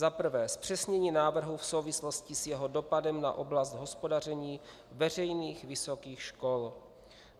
Za prvé, zpřesnění návrhu v souvislosti s jeho dopadem na oblast hospodaření veřejných vysokých škol.